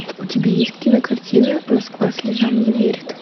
у тебя есть кинокартина москва слезам не верит